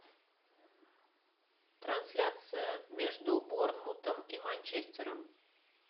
трансляция между борнмутом и манчестером